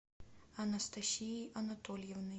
анастасией анатольевной